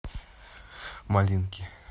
малинки